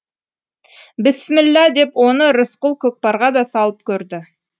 бісміллә деп оны рысқұл көкпарға да салып көрді